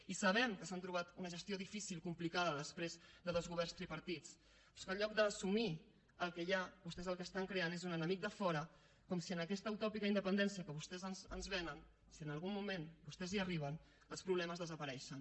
i sabem que s’han trobat una gestió difícil complicada després de dos governs tripartits però és que en lloc d’assumir el que hi ha vostès el que estan creant és un enemic de fora com si en aquesta utòpica independència que vostès ens venen si en algun moment vostès hi arriben els problemes desapareixen